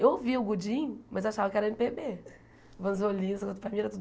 Eu ouvia o gudim, mas achava que era êMe Pê Bê.